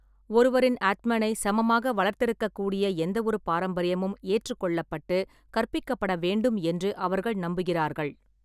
ஒருவரின் ஆத்மனை சமமாக வளர்த்தெடுக்கக்கூடிய எந்தவொரு பாரம்பரியமும் ஏற்றுக்கொள்ளப்பட்டு கற்பிக்கப்பட வேண்டும் என்று அவர்கள் நம்புகிறார்கள்.